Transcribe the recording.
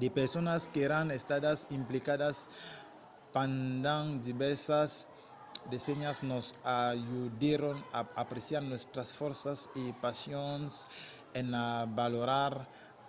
de personas qu’èran estadas implicadas pendent divèrsas decennias nos ajudèron a apreciar nòstras fòrças e passions en avalorar